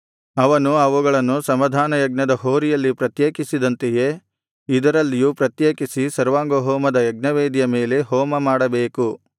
ಅವನು ಅವುಗಳನ್ನು ಸಮಾಧಾನಯಜ್ಞದ ಹೋರಿಯಲ್ಲಿ ಪ್ರತ್ಯೇಕಿಸಿದಂತೆಯೇ ಇದರಲ್ಲಿಯೂ ಪ್ರತ್ಯೇಕಿಸಿ ಸರ್ವಾಂಗಹೋಮದ ಯಜ್ಞವೇದಿಯ ಮೇಲೆ ಹೋಮ ಮಾಡಬೇಕು